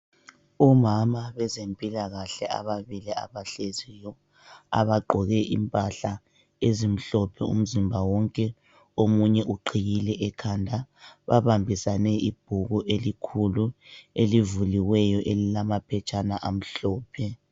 Omama bezempilakahle ababili abahleziyo abagqoke impahla ezimhlophe umzimba wonke omunye uqhiyile ekhanda babambisane ibhuku elikhulu elivuliweyo elilamaphetshana amhlophe.